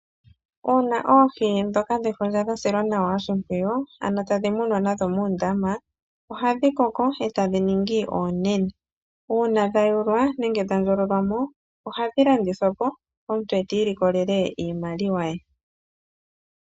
Uuna oohi ndhoka dhefundja dha silwa nawa oshimpwiyu, ano tadhi munwa nadhomoondama, ohadhi koko eta dhi ningi oonene. Uuna dha yulwa, nenge dha ndjololwa mo, ohadhi landithwa po, omuntu eti ilikolele iimaliwa ye.